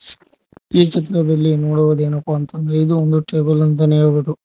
ಈ ಚಿತ್ರದಲ್ಲಿ ನೋಡುವುದೇನೆಪ್ಪ ಅಂತ ಅಂದ್ರೆ ಇದು ಒಂದು ಇದು ಒಂದು ಟೇಬಲ್ ಅಂತಾನೆ ಹೇಳಬಹುದು.